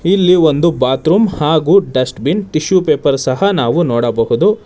ಇಲ್ಲಿ ಒಂದು ಬಾತರೂಮ್ ಹಾಗು ಡಸ್ಟಬಿನ್ ಟಿಶ್ಯು ಪೇಪರ್ ಸಹ ನಾವು ನೋಡಬಹುದು.